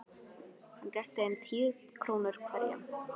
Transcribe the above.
Hann rétti þeim tíu krónur hverjum.